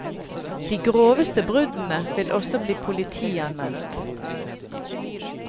De groveste bruddene vil også bli politianmeldt.